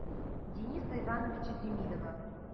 дениса ивановича демидова